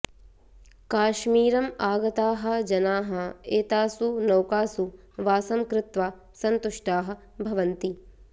काश्मीरं आगताः जनाः एतासु नौकासु वासं कृत्वा सन्तुष्टाः भवन्ति